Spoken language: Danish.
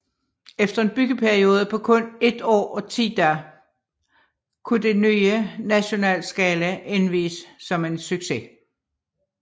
Efter en byggeperiode på kun et år og ti dage kunne det nye National Scala indvies som en succes